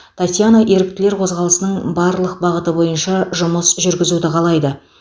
татьяна еріктілер қозғалысының барлық бағыты бойынша жұмыс жүргізуді қалайды